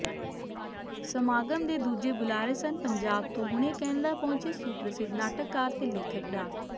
ਸਮਾਗਮ ਦੇ ਦੂਜੇ ਬੁਲਾਰੇ ਸਨ ਪੰਜਾਬ ਤੋਂ ਹੁਣੇ ਕੈਨੇਡਾ ਪਹੁੰਚੇ ਸੁਪ੍ਰਸਿਧ ਨਾਟਕਕਾਰ ਤੇ ਲੇਖਕ ਡਾ